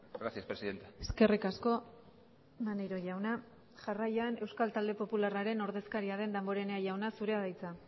gracias presidenta eskerrik asko maneiro jauna jarraian euskal talde popularraren ordezkaria den damborenea jauna zurea da hitza